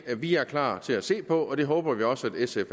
vi er klar til at se på og det håber vi også at sf